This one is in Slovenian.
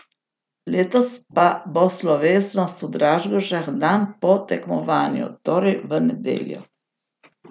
Letos pa bo slovesnost v Dražgošah dan po tekmovanju, torej v nedeljo.